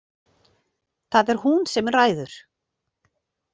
Það er hún sem ræður.